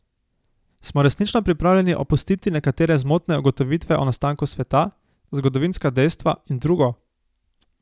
Smo resnično pripravljeni opustiti nekatere zmotne ugotovitve o nastanku sveta, zgodovinska dejstva in drugo?